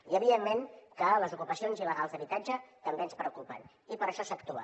i evidentment que les ocupacions il·legals d’habitatge també ens preocupen i per això s’actua